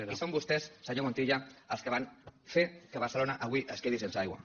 i són vostès senyor montilla els que van fer que barcelona avui es quedi sense aigua